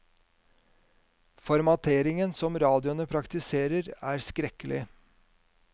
Formateringen som radioene praktiserer, er skrekkelig.